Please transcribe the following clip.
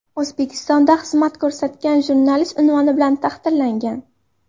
O‘zbekistonda xizmat ko‘rsatgan jurnalist unvoni bilan taqdirlangan.